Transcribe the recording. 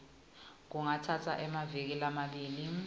kungatsatsa emaviki lamabili